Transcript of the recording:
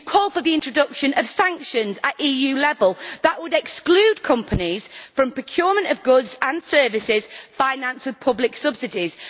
You call for the introduction of sanctions at EU level that would exclude companies from procurement of goods and services financed with public subsidies.